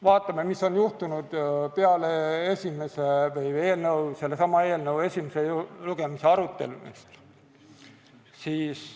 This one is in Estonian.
Vaatame, mis on juhtunud peale sellesama eelnõu esimese lugemise arutelu.